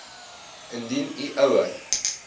indien u ouer